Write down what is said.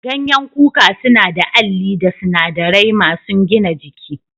Ganyen kuka suna da Alli da sunadarai masun gina jiki.